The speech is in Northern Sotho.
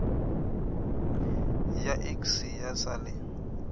ya iks ya sa le